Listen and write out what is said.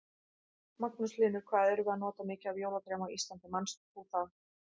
Magnús Hlynur: Hvað erum við að nota mikið af jólatrjám á Íslandi, manst þú það?